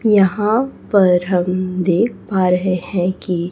यहा पर हम देख पा रहे है कि--